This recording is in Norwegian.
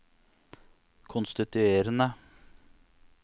konstituerende